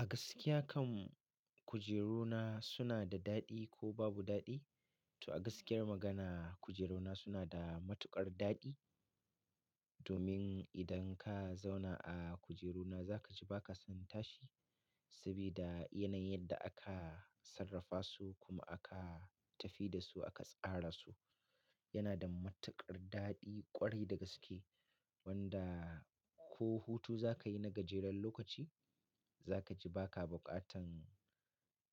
A gaskiya kan kujeruna suna da daɗi ko babu daɗi? To a gaskiyar magana kujeruna suna da matuƙar daɗi. Domin idan ka zauna a kujeruna za ka ji ba ka son tashi. Sabida yanayin yadda aka sarrafa su kuma aka tafi da su aka tsara su yana da matuƙar daɗi ƙwarai da gaske. Wanda ko hutu za ka yi na gajeren lokaci za ka ji ba ka buƙatan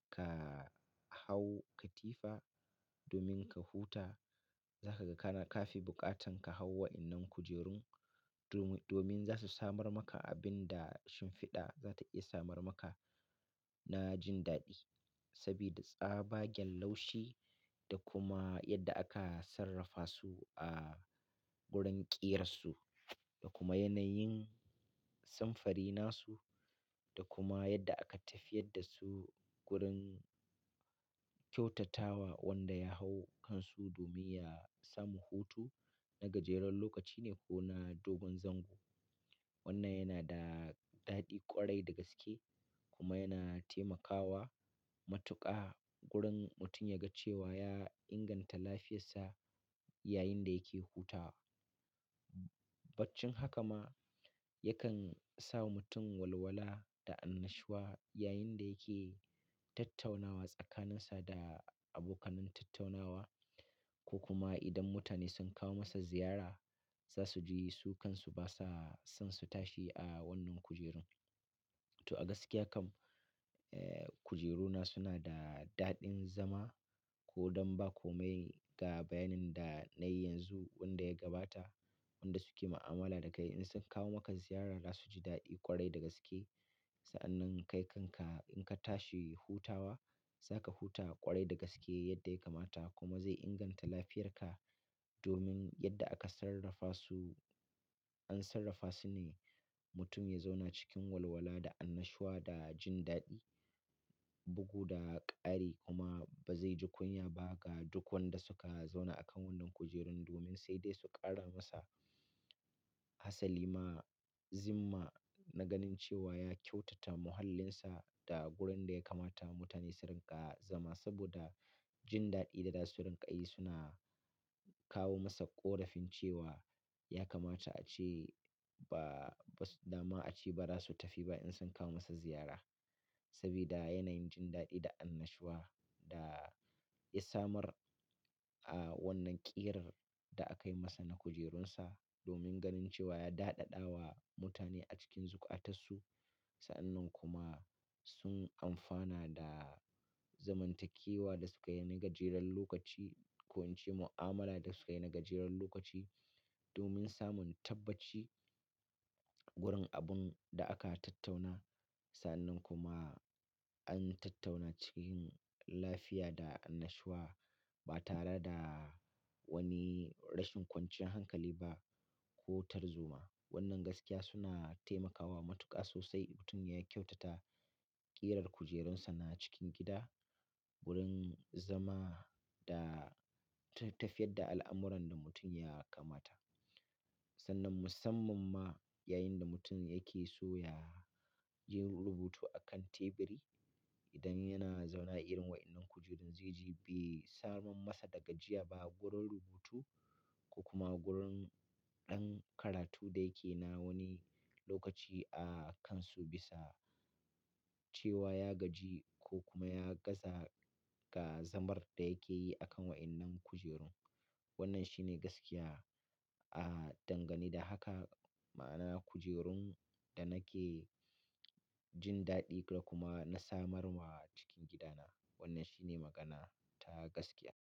ka hau katifa domin ka huta. Za ka ga kana kafi buƙatan ka hau wa'innan kujerun domin, domin za su samar maka abin da shimfiɗa za ta iya samar maka na jin daɗi. Sabida tsabagen laushi da kuma yadda aka sarrafa su a gurin ƙiyar su da kuma yanayin samfari nasu da kuma yadda aka tafiyar da su gurin kyautatawa wanda ya hau kansu domin ya samu hutu na gajeren lokaci ne ko na dogon zango. Wannan yana da daɗi ƙwarai da gaske kuma yana taimakawa matuƙa gurin mutum ya ga cewa ya inganta lafiyarsa yayin da yake hutawa. Baccin haka ma yakan sa mutum walwala da annashuwa yayin da yake tattaunawa tsakaninsa da abokanai tattaunawa ko kuma idan mutane sun kawo masa ziyara za su ji su kansu ba sa son su tashi a wannan kujerun. To a gaskiya kam, eh kujeruna suna da daɗin zama ko don ba komai ga bayanin da na yi yanzu wanda ya gabata wanda suke mu'amala da kai. In sun kawo maka ziyara za su ji daɗi ƙwarai da gaske. Sa'annan kai kanka in ka tashi hutawa za ka huta ƙwarai da gaske yadda ya kamata kuma zai inganta lafiyarka. Domin yadda aka sarrafa su an sarrafa su ne mutum ya zauna cikin walwala da annashuwa da jin daɗi, bugu da ƙari kuma ba zai ji kunya ba ga duk wanda suka zauna a kan wannan kujerun domin sai dai su ƙara masa. Hassa Lima Zimma na ganin cewa ya kyautata muhallinsa da gurin da ya kamata mutane su rinƙa zama saboda jin daɗi da za su rinƙa yi suna kawo masa ƙorafin cewa ya kamata ace ba, ba dama ace ba za su tafi ba in sun kawo masa ziyara. Sabida yanayin jin daɗi da annashuwa da ya samar a wannan ƙiyar da aka yi masa na kujerunsa domin ganin cewa ya daɗaɗawa mutane a cikin zukatasu. Sa'annan kuma sun amfana da zamantakewa da sukayi na gajeren lokaci ko in ce mu'amala da sukayi na gajeren lokaci domin samun tabbaci gurin abun da aka tattauna. Sa'annan kuma an tattauna cikin lafiya da annashuwa ba tare da wani rashin kwanciyar hankali ba ko tarzoma. Wannan gaskiya suna taimakawa matuƙa sosai mutum ya kyautata ƙiyar kujerunsa na cikin gida gurin zama da tafiyar da al'amuran da mutum ya kamata. Sannan musamman ma yayin da mutum yake so ya yin rubutu akan teburi idan yana zauna a irin wa'innan kujerun zai ji bai samar masa da gajiya ba gurin rubutu ko kuma gurin ɗan karatu da yake na wani lokaci a kansu bisa cewa ya gaji ko kuma ya gaza ga zamar da yake yi akan wa'innan kujerun. Wannan shine gaskiya a dangane da haka ma'ana kujerun da nake jin daɗi da kuma na samar wa cikin gidana. Wannan shine magana ta gaskiya.